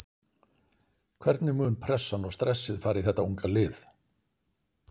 Hvernig mun pressan og stressið fara í þetta unga lið?